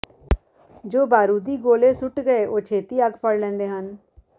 ਜੋ ਬਾਰੂਦੀ ਗੋਲੇ ਸੁੱਟ ਗਏ ਉਹ ਛੇਤੀ ਅੱਗ ਫੜ ਲੈਂਦੇ ਹਨ